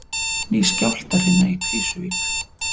Ný skjálftahrina í Krýsuvík